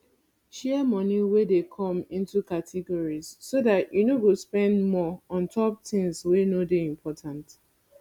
share moni wey dey come into categories so dat you no go spend more ontop tins wey no dey important